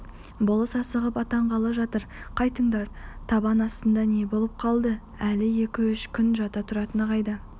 болыс асығып аттанғалы жатыр қайтыңдар табан астында не болып қалды әлі екі-үш күн жата тұратыны қайда